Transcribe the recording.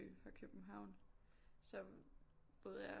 Fra København så boede jeg